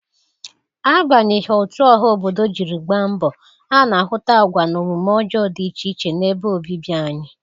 Abanyeghị otu ọha obodo jiri gba mbọ, a na-ahụta agwa na omume ọjọọ dị iche iche n'ebe obibi anyị